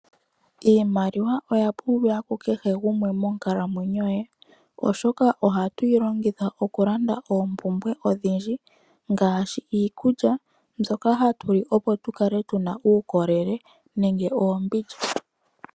Iimaliwa oya pumbiwa kukehe gumwe monkalamwenyo ye oshoka ohatu yilongitha okulanda oompumbwe odhindji ngaashi iikulya mbyoka hatu li opo tukale tuna uukolele nenge oombindja.